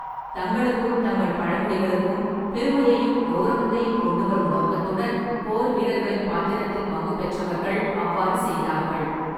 தங்களுக்கும் தங்கள் பழங்குடிகளுக்கும் பெருமையையும் கௌரவத்தையும் கொண்டுவரும் நோக்கத்துடன், போர்வீரர்களின் பாத்திரத்தில் பங்குபெற்றவர்கள் அவ்வாறு செய்தார்கள்.